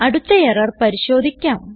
അടുത്ത എറർ പരിശോധിക്കാം